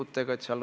Aitäh, hea Riina!